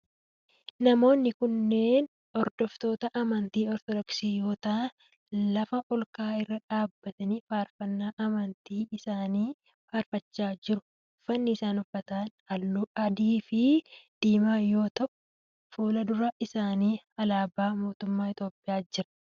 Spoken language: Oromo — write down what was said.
Namoonni kunneen hordoftoota amantii ortodoksii yoo ta'aan lafa olka'aa irra dhaabbatanii faarfannaa amantii isaani faarfachaa jiru. uffanni isaan uffatan halluu akka adii fi diimaa yoo ta'u fuuldura isaanii alaabaa mootummaa Itiyoophiyaa jira.